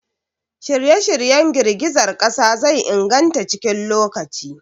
Shirye-shiryen girgizar ƙasa zai inganta cikin lokaci.